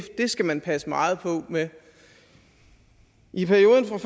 skal man passe meget på med i perioden fra